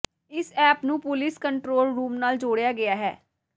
ਇਸ ਐਪ ਨੂੰ police control room ਨਾਲ ਜੋੜਿਆ ਗਿਆ ਹੈ